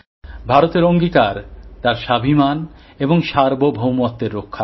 ভারতের অঙ্গীকার তার আত্মসম্মান এবং সার্বভৌমতাকে রক্ষার